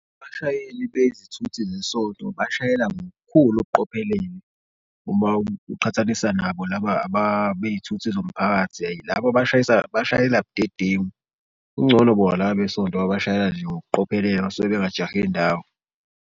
Abashayeli bezithuthi zesonto bashayela ngokukhulu ukuqophelele uma uqhathanisa nabo laba bey'thuthi zomphakathi ayi labo abashisa bashayela budedengu. Kungcono bona laba besonto bashayela nje ngokuqhophela basuke bengajahe ndawo.